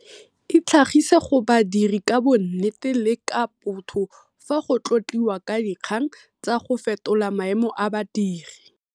Itlhagise go badiri ka bonnete le ka botho fa go tlotliwa ka dikgang tsa go fetola maemo a badiri.